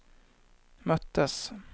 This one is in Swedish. möttes